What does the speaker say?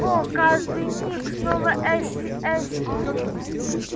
о каждый миг снова эшли-эшли